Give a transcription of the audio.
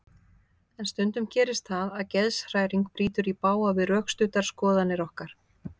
En stundum gerist það að geðshræring brýtur í bága við rökstuddar skoðanir okkar.